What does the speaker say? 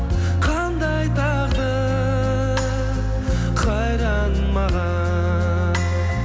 қандай тағдыр қайран маған